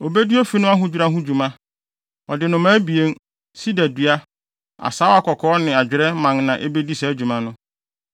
Obedi ofi no ahodwira ho dwuma. Ɔde nnomaa abien, sida dua, asaawa kɔkɔɔ ne adwerɛ mman na ebedi saa dwuma no.